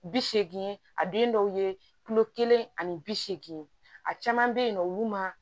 Bi seegin a den dɔw ye kulo kelen ani bi seegin a caman be yen nɔ olu ma